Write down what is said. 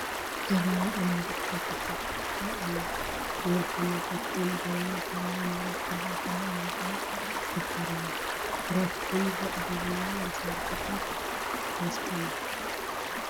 ጀበና ኣብ ምድጃ ተሰኽቲታ ኣላ፡፡ ንወልፈኛታት ቡና ጀበና ካብ ናይ ንብረት ገዛ ኹሉ ንላዕሊ ትኽበር እያ፡፡ ህረፍ ቡን ዘዕግቡላ መሳርሒት ስለዝኾነት፡፡